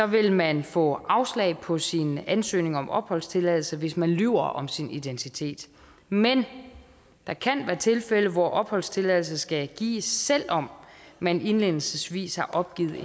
vil man få afslag på sin ansøgning om opholdstilladelse hvis man lyver om sin identitet men der kan være tilfælde hvor opholdstilladelse skal gives selv om man indledningsvis har opgivet